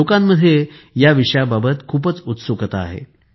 लोकांमध्ये या विषयाबाबत खूपच उत्सुकता आहे